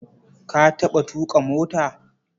Ka taɓa tuƙa mota?